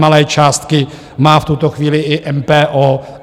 Nemalé částky má v tuto chvíli i MPO.